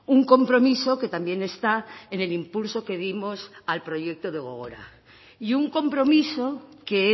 un compromiso que también está en el impulso que dimos al proyecto de gogora y un compromiso que